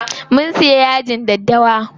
Mun siya yajin daddawa.